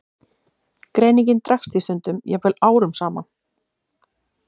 Greiningin dregst því stundum, jafnvel árum saman.